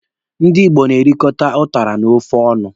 Ndị Igbo na-erikọta ụtara na ofe ọnụ.